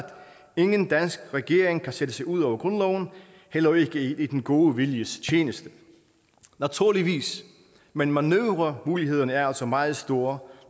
ingen dansk regering kan sætte sig ud over grundloven heller ikke i den gode viljes tjeneste naturligvis men manøvremulighederne er altså meget store